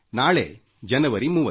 ನಾಳೆ ಜನವರಿ 30